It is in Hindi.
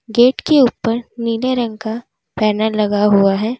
गेट के ऊपर नीले रंग का बैनर लगा हुआ है।